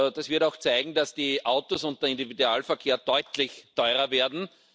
Das wird auch zeigen, dass die Autos und der Individualverkehr deutlich teurer werden.